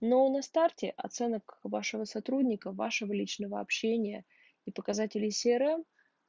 но на старте оценок вашего сотрудника вашего личного общения и показателей си рэ эм